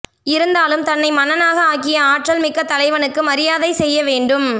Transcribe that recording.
இருந்தாலும் தன்னை மன்னனாக ஆக்கிய ஆற்றல் மிக்க தலைவனுக்கு மரியாதை செய்ய வேண்டும்